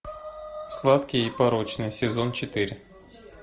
сладкие и порочные сезон четыре